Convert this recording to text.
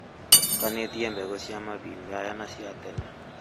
Atukanĩtie mbegũ cia mahinda maya na cia tene